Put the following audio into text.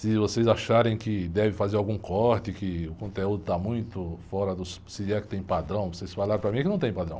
Se vocês acharem que devem fazer algum corte, que o conteúdo está muito fora dos... Se é que tem padrão, vocês falaram para mim que não tem padrão.